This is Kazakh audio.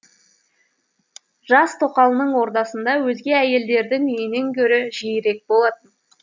жас тоқалының ордасында өзге әйелдердің үйінен гөрі жиірек болатын